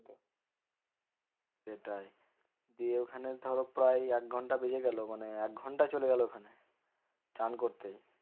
সেটাই দিয়ে ওখানে ধরো প্রায় একঘন্টা বেজে গেলো মানে একঘন্টা চলে গেলো ওখানে চান করতে।